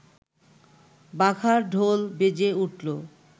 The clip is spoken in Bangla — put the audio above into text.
বাঘার ঢোল বেজে উঠল